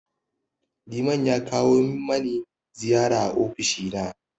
Liman ya kawo mani ziyara a ofishi na.